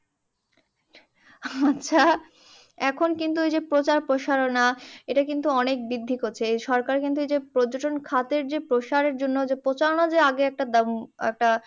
আচ্ছা, এখন কিন্তু এইযে প্রচার প্রসারনা, এইটা কিন্তু অনেক বৃদ্ধি করছে। এই সরকার কিন্তু, এইযে পর্যটন খাতের যে প্রসারের জন্য যে প্রচারণা যে আগে একটা উম একটা